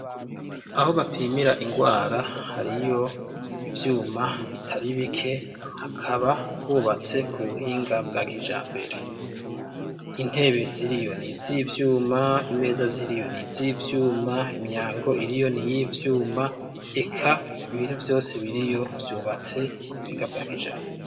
Aho bapimira indwara, hariyo ivyuma bitari bike. Hakaba hubatse ku buhinga bwa kijambere. Intebe ziriyo n'izivyuma, imeza ziriyo n'izivyuma, imyango iriyo n'iy'ivyuma, eka ibintu vyose biriyo vyubatse ku buhinga bwa kijambere.